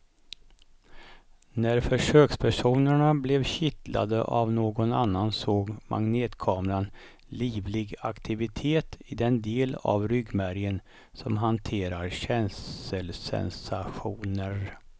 När försökspersonerna blev kittlade av någon annan såg magnetkameran livlig aktivitet i den del av ryggmärgen som hanterar känselsensationer.